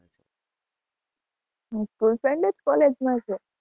હં school friend જ college માં છે?